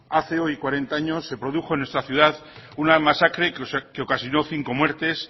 hace hoy cuarenta años se produjo en nuestra ciudad una masacre que ocasionó cinco muertes